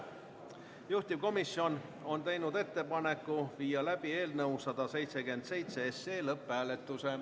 Juhtivkomisjon on teinud ettepaneku viia läbi eelnõu 177 lõpphääletus.